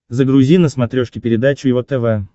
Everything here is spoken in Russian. загрузи на смотрешке передачу его тв